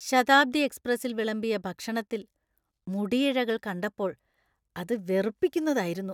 ശതാബ്ദി എക്സ്പ്രസിൽ വിളമ്പിയ ഭക്ഷണത്തിൽ മുടിയിഴകൾ കണ്ടപ്പോൾ അത് വെറുപ്പിക്കുന്നതായിരുന്നു .